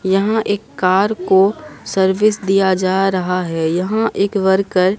यहां एक कार को सर्विस दिया जा रहा है यहां एक वर्कर --